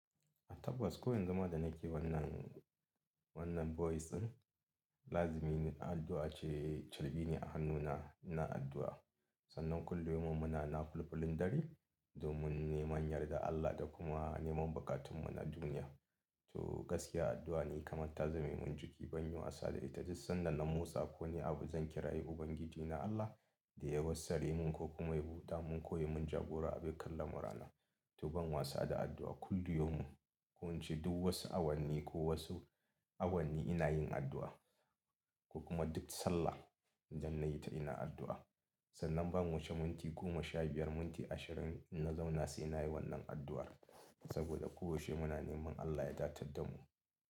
Tabbas. Ko yanzu ma da nake wannan, wannan voice din, lazimi ne addu'a ce charbi ne a hannuna, ina addu'a. Sannan kullum yaumin muna nafulfulin dare domin neman yardar Allah da kuma neman buƙatun mu na duniya. To gaskiya addu'a ne kamar ta zame min jiki, ban yi wasa da ita. Duk sanda na motsa ko wani abu zan kira yi Ubangiji na Allah da ya wassare mun ko kuma ya buɗa mun ko ya mun jagora a dukkan lamurana. To ban wasa da addu'a, kullu yaumin ko ince duk wasu awanni ko wasu awanni ina yin addu'a ko kuma ince duk sallah. Sannan ban wuce minti goma, sha biyar, minti ashirin in na zauna sai na yi wannan addu'ar. Saboda koyaushe muna neman Allah ya datar mu.